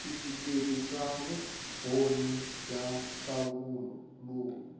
switifikheti swa vumbhoni bya nhlahluvo